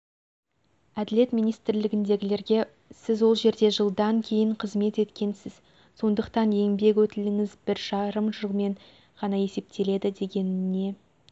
әділет министрлігіндегілерге сіз ол жерде жылдан кейін қызмет еткенсіз сондықтан еңбек өтіліңіз бір жарым жылмен ғана есептеледі дегеніне